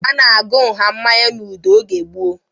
A na-agụ nha mmanya n'udu oge gboo